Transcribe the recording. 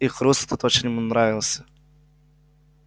и хруст этот очень ему нравился